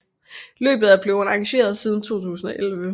Løbet er blevet arrangeret siden 2011